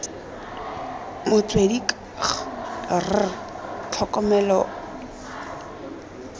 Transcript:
motswedi k g r tlhokomelo